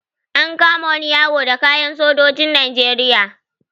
An kama wani yaro da kayan sojojin Najeriya.